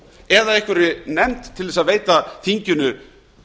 eða einhverri nefnd til að veita þinginu